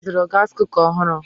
Anyị zụrụ gaasi kuka ọhụrụ.